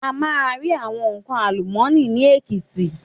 A máa rí àwọn nnkan àlùmọ́nì ni Èkìtì.